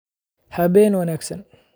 Habeen wanaagsan